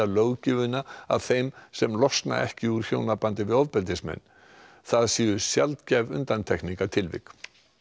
löggjöfina að þeim sem losna ekki úr hjónabandi við ofbeldismenn það séu sjaldgæf undantekningartilvik